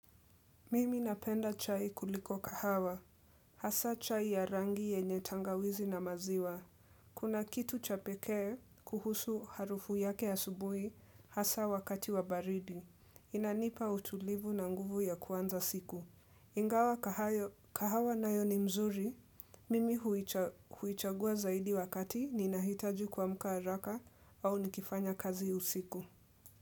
Mimi napenda chai kuliko kahawa. Hasa chai ya rangi yenye tangawizi na maziwa. Kuna kitu cha pekee kuhusu harufu yake asubuhi hasa wakati wa baridi. Inanipa utulivu na nguvu ya kuanza siku. Ingawa kahawa nayo ni mzuri. Mimi huichagua zaidi wakati ni nahitaju kuamka haraka au nikifanya kazi usiku.